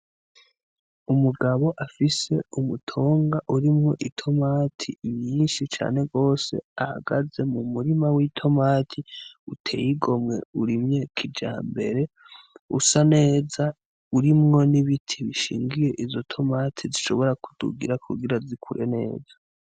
Umugabo afise umutonga urimwo itomate n'inyishi cane gose ahagaze mumurima w'itomate uteye igomwe urimye kijambere usa neza urimwo n'ibiti bishingiye izo tomate zishobora k'udugirako kugira zikure neza.